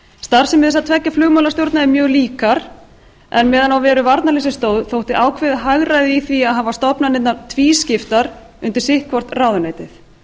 starfsemi þessara tveggja flugmálastjórna eru mjög líkar en meðan á veru varnarliðsins stóð þótti ákveðið hagræði í að hafa stofnanirnar tvískiptar undir sitt hvort ráðuneytið